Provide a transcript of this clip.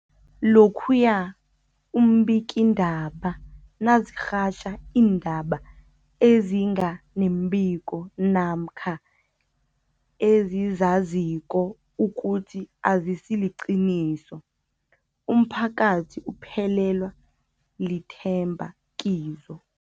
Lokhuya iimbikiindaba nazirhatjha iindaba ezinga nembiko namkha ezizaziko ukuthi azisiliqiniso, umphakathi uphelelwa lithemba kizo.